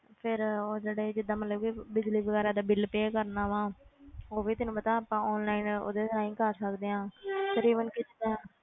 ਫਿਰ ਉਹ ਜਿਹੜੇ ਜਿੱਦਾਂ ਮਤਲਬ ਕਿ ਬਿਜ਼ਲੀ ਵਗ਼ੈਰਾ ਦੇ ਬਿੱਲ pay ਕਰਨਾ ਵਾਂ ਉਹ ਵੀ ਤੈਨੂੰ ਪਤਾ ਆਪਾਂ online ਉਹਦੇ ਰਾਹੀਂ ਕਰ ਸਕਦੇ ਹਾਂ ਫਿਰ even ਇਸੇ ਤਰ੍ਹਾਂ,